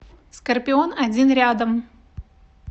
скорпион один рядом